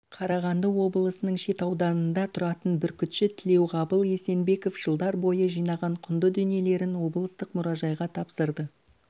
қарағанды облысының шет ауданында тұратын бүркітші тілеуғабыл есенбеков жылдар бойы жинаған құнды дүниелерін облыстық мұражайға тапсырды